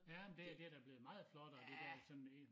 Ja men det det det da blevet meget flottere det dér sådan der